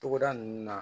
Togoda nunnu na